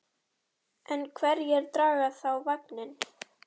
En hverjir draga þá vagninn?